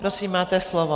Prosím, máte slovo.